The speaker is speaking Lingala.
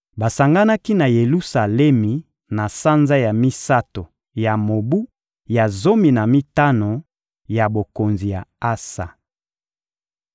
Basanganaki na Yelusalemi na sanza ya misato ya mobu ya zomi na mitano ya bokonzi ya Asa.